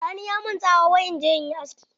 Sani ya min tsawa wai in je in yi aski!